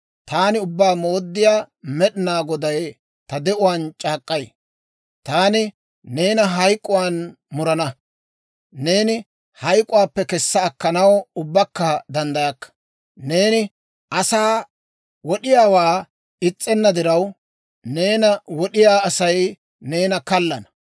taani Ubbaa Mooddiyaa Med'inaa Goday ta de'uwaan c'aak'k'ay; taani neena hayk'k'uwaan murana; neeni hayk'k'uwaappe kessa akkanaw ubbakka danddayakka! Neeni asaa wod'iyaawaa is's'enna diraw, neena wod'iyaa Asay neena kaallana!